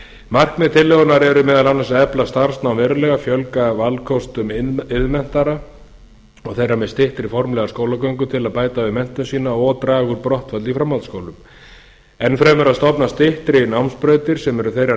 markmið tillögunnar eru meðal annars að efla starfsnám verulega fjölga valkostum iðnmenntaðra og þeirra með styttri formlega skólagöngu til að bæta við menntun sína og draga úr brottfalli í framhaldsskólum enn fremur að stofna styttri námsbrautir sem eru þeirrar